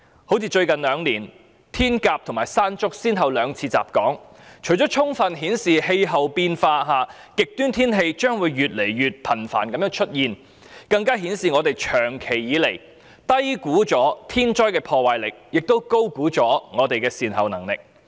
好像最近兩年，颱風"天鴿"及"山竹"先後兩次襲港，除了充分顯示極端天氣將會越來越頻繁外，更顯示本港長期以來低估天災的破壞力，亦高估我們的善後能力。